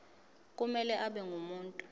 kumele abe ngumuntu